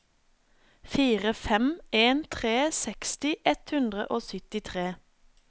fire fem en tre seksti ett hundre og syttitre